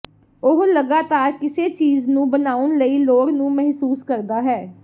ਉਹ ਲਗਾਤਾਰ ਕਿਸੇ ਚੀਜ਼ ਨੂੰ ਬਣਾਉਣ ਲਈ ਲੋੜ ਨੂੰ ਮਹਿਸੂਸ ਕਰਦਾ ਹੈ